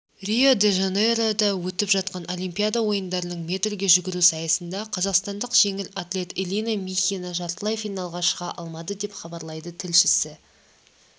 рио-де-жанейрода өтіп жатқан олимпиада ойындарының метрге жүгіру сайысында қазақстандық жеңіл атлет элина михина жартылай финалға шыға алмады деп хабарлайды тілшісі